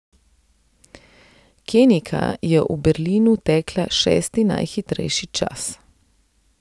Kenijka je v Berlinu tekla šesti najhitrejši čas.